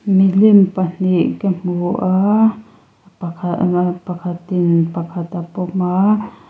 milim pahnih ka hmu a pakhat pakhat in pakhat a pawm a.